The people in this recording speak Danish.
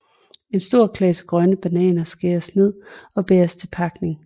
En stor klase grønne bananer skæres ned og bæres til pakning